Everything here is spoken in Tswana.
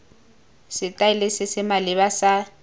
setaele se se maleba sa